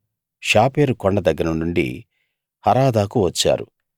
షాపెరు కొండ దగ్గర నుండి హరాదాకు వచ్చారు